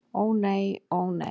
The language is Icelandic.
Ó nei, ó nei!